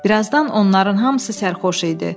Bir azdan onların hamısı sərxoş idi.